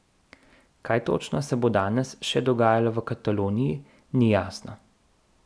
Kaj točno se bo danes še dogajalo v Kataloniji, ni jasno.